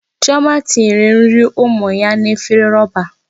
Chioma tinyere nri ụmụ ya n'efere roba.